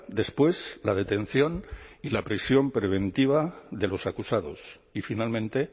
después la detención y la prisión preventiva de los acusados y finalmente